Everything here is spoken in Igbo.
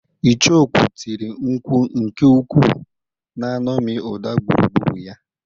Icheokwú tiri nkwu nke ukwuu, na-eṅomi ụda gburugburu ya.